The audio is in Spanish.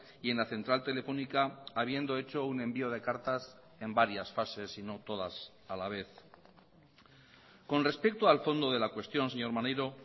y en la central telefónica habiendo hecho un envío de cartas en varias fases y no todas a la vez con respecto al fondo de la cuestión señor maneiro